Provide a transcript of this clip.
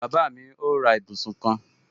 Bàbá mi ó ra ibùsùn kan